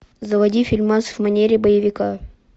заводи фильмас в манере боевика